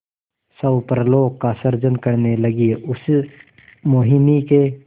स्वप्नलोक का सृजन करने लगीउस मोहिनी के